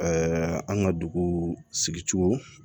an ka dugu sigicogo